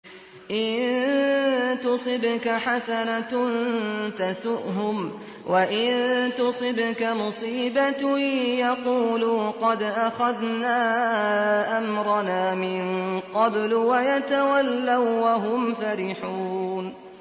إِن تُصِبْكَ حَسَنَةٌ تَسُؤْهُمْ ۖ وَإِن تُصِبْكَ مُصِيبَةٌ يَقُولُوا قَدْ أَخَذْنَا أَمْرَنَا مِن قَبْلُ وَيَتَوَلَّوا وَّهُمْ فَرِحُونَ